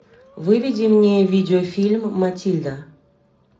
выведи мне видеофильм матильда